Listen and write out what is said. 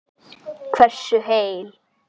Hversu heil